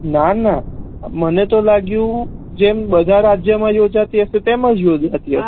ના ના મને તો લાગ્યું જેમ બેધા રાજ્યો મા યોજાતી હશે તેમજ યોજાતી હશે